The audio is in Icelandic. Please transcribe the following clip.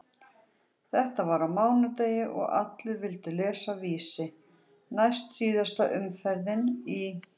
Þetta var á mánudegi og allir vildu lesa Vísi, næstsíðasta umferðin í